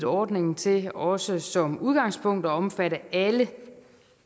ordningen til også som udgangspunkt at omfatte alle